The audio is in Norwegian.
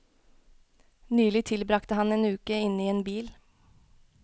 Nylig tilbragte han en uke inne i en bil.